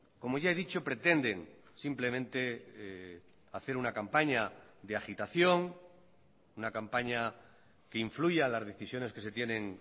como ya he dicho pretenden simplemente hacer una campaña de agitación una campaña que influya las decisiones que se tienen